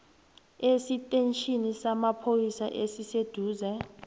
esitetjhini samapholisa esiseduze